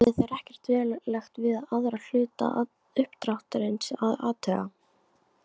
Höfðu þeir ekkert verulegt við aðra hluta uppdráttarins að athuga.